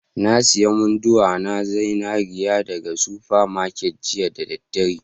Na sayi munduwa na zinariya daga super market jiya da daddare